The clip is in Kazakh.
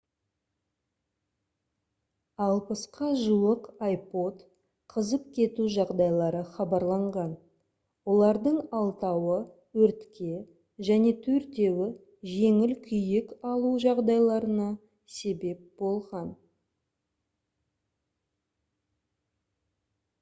60-қа жуық ipod қызып кету жағдайлары хабарланған олардың алтауы өртке және төртеуі жеңіл күйік алу жағдайларына себеп болған